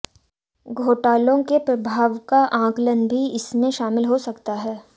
घोटालों के प्रभाव का आकलन भी इसमें शामिल हो सकता है